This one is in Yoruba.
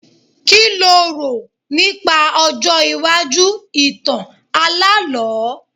Kí lo rò nípa ọjọ́ iwájú ìtàn alálọ̀ọ́?